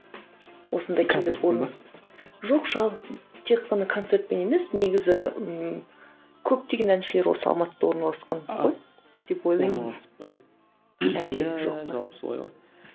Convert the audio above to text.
жоқ жалпы тек қана концертпен емес негізі ііі көптеген әншілер осы алматыда орналасқан ғой деп ойлаймын жалпы солай ғой